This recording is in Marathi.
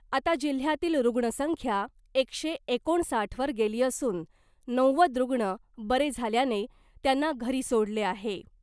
आता जिल्ह्यातील रुग्णसंख्या एकशे एकोणसाठवर गेली असून नव्वद रुग्ण बरे झाल्याने त्यांना घरी सोडले आहे .